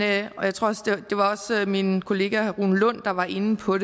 jeg tror også min kollega herre rune lund var inde på